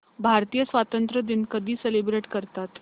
भारतीय स्वातंत्र्य दिन कधी सेलिब्रेट करतात